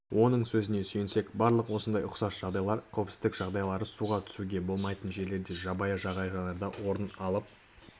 оның сөзіне сүйенсек барлық осындай ұқсас жағдайлар қауіпсіздік жағдайларысуға түсуге болмайтын жерлерде жабайы жағажайларда орын алып